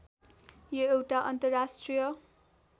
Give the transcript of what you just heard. यो एउटा अन्तर्राष्ट्रिय